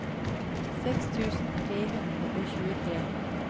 seks tusen tre hundre og tjuetre